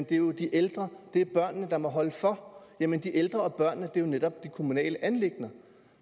det jo er de ældre og børnene der må holde for jamen de ældre og børnene er jo netop kommunale anliggender